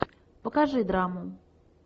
покажи драму